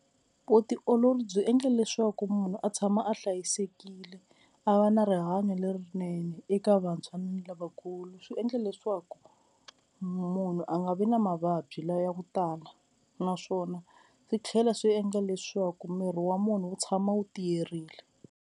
Vutiolori byi endle leswaku munhu a tshama a hlayisekile a va na rihanyo lerinene eka vantshwa ni lavakulu, swi endla leswaku munhu a nga vi na mavabyi lawa ya ku tala naswona swi tlhela swi endla leswaku miri wa munhu wu tshama wu tiyerini.